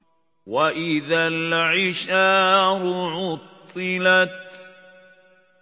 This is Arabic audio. وَإِذَا الْعِشَارُ عُطِّلَتْ